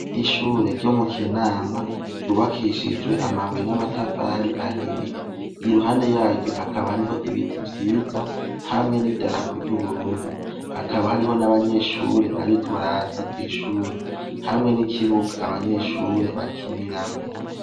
Ishure ryo mu Kinama ryubakishijwe amabuye n'amatafari ahiye. Iruhande yaryo hakaba hariho ibiti vyiza, hamwe n'idarapo ry'Uburundi. Hakaba hariho n'abanyeshure bariko baraza kw'ishure; hamwe n'ikibuga abanyeshure bakiniramwo.